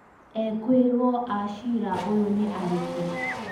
Ekorwo a cira uyu nĩ arĩkũ?